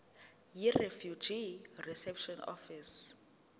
yirefugee reception office